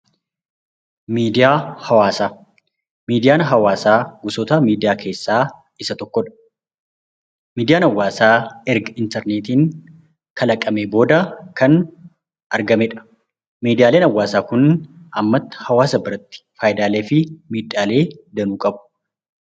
Miidiyaa hawaasaa Miidiyaan hawaasaa gosoota miidiyaa keessaa isa tokko dha. Miidiyaan hawaasaa erga intarneetiin kalaqamee booda kan argamedha. Miidiyaaleen hawaasaa kun ammatti hawaasa biratti faayidaalee fi miidhaalee danuu qabu.